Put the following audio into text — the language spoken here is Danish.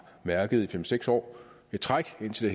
mærket i fem seks år i træk indtil